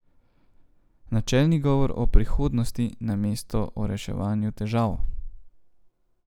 Načelni govor o prihodnosti, namesto o reševanju težav.